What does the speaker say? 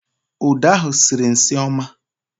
Uda ahụ sịrị nsị ọma